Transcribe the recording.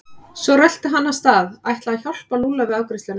Svo rölti hann af stað, ætlaði að hjálpa Lúlla við afgreiðsluna.